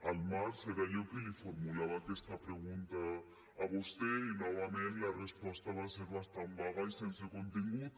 al març era jo qui li formulava aquesta pregunta a vostè i novament la resposta va ser bastant vaga i sense contingut